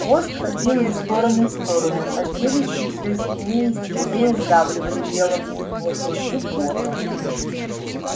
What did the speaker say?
хвост ходил из стороны в сторону а челюсти все сильнее и сильнее сдавливали белому клыку горло